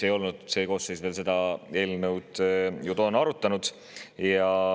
See Riigikogu koosseis ei olnud toona seda eelnõu ju veel arutanud.